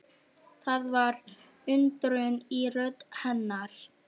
Það var undrun í rödd hennar.